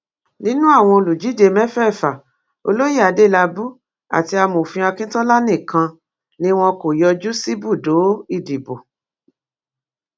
nínú àwọn olùdíje mẹfẹẹfà olóyè adélábù àti amòfin akíntola nìkan ni wọn kò yọjú síbùdó ìdìbò